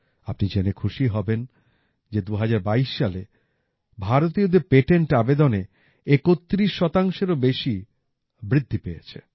আপনি জেনে খুশি হবেন যে ২০২২ সালে ভারতীয়দের পেটেন্ট আবেদনে ৩১ এরও বেশি বৃদ্ধি পেয়েছে